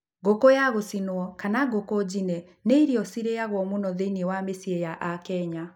Ngũkũ ya gũcinwo, kama ngũkũ njine nĩ irio cirĩyagwo mũno thĩiniĩ wa mĩciĩ ya aKenya